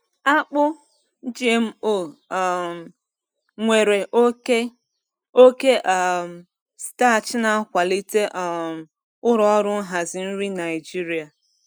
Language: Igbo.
Akpụ GMO um nwere oke oke um starch na-akwalite um ụlọ ọrụ nhazi nri Naijiria.